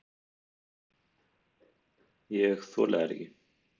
Ég þoli þær ekki.